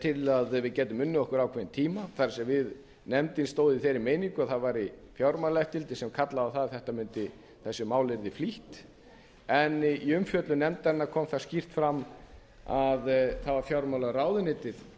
til að við gætum unnið okkur ákveðinn tíma það er nefndin stóð í þeirri meiningu að það væri fjármálaeftirlitið sem kallaði á það að þessu máli yrði flýtt en í umfjöllun nefndarinnar kom það skýrt fram að það var fjármálaráðuneytið